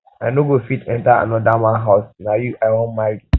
i no go fit enter another man house na you i wan marry